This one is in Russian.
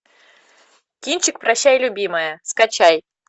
кинчик прощай любимая скачай